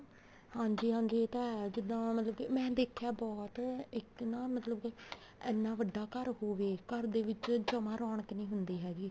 ਹਾਂਜੀ ਹਾਂਜੀ ਇਹ ਤਾਂ ਹੈ ਜਿੱਦਾਂ ਮਤਲਬ ਕੇ ਮੈਂ ਦੇਖਿਆ ਬਹੁਤ ਇੱਕ ਨਾ ਮਤਲਬ ਕੇ ਇੰਨਾ ਵੱਡਾ ਘਰ ਹੋਵੇ ਦੇ ਵਿੱਚ ਜਮਾ ਰੋਣਕ ਨੀ ਹੁੰਦੀ ਹੈਗੀ